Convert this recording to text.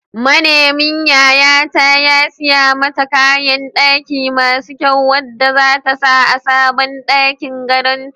Manemin yayata ya siya mata kayan ɗaki masu kyau wanda zata sa a sabon ɗakin gadon ta.